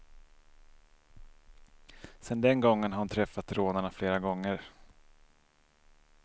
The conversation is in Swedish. Sedan den gången har hon träffat rånarna flera gånger.